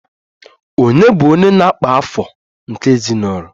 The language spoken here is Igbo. Ònye bụ onye na-akpa afọ nke ezinụlọ?